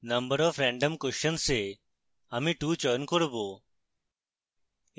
number of random questions এ আমি 2 চয়ন করব